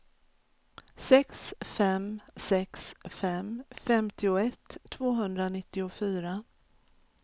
sex fem sex fem femtioett tvåhundranittiofyra